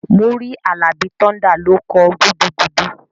Múrí Àlàbí Thunder ló kọ "gudugudu"